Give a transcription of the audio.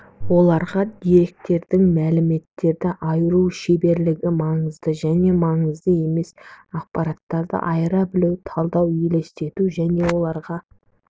оларға деректердің мәліметтерден айыру шеберлігі маңызды және маңызды емес ақпараттарды айыра білу талдау елестету және оларға